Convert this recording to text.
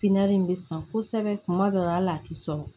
Pipiniyɛri in bɛ san kosɛbɛ kuma dɔw la al'a tɛ sɔn